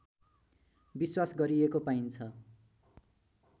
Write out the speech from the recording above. विश्वास गरिएको पाइन्छ